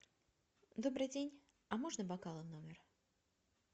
добрый день а можно бокалы в номер